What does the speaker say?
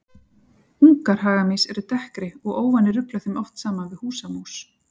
Ungar hagamýs eru dekkri og óvanir rugla þeim oft saman við húsamús.